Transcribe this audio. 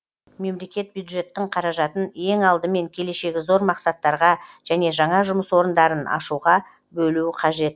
мемлекет бюджеттің қаражатын ең алдымен келешегі зор мақсаттарға және жаңа жұмыс орындарын ашуға бөлуі қажет